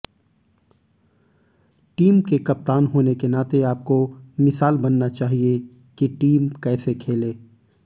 team के कप्तान होने के नाते आपको मिसाल बनना चाहिये कि टीम कैसे खेले